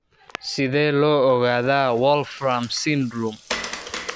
Sidee loo ogaadaa Wolfram syndrome?